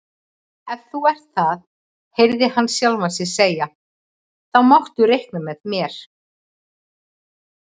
Ef þú ert það heyrði hann sjálfan sig segja, þá máttu reikna með mér